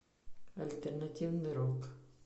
альтернативный рок